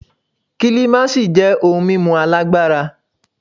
Kílímásì jẹ́ ohun mímu alágbára.